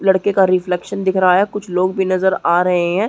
लड़के का रिफ्लेकशन दिख रहा है कुछ लोग भी नजर आ रहै है|